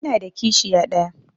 Ina da kishiya ɗaya.